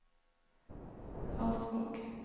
Hasvåg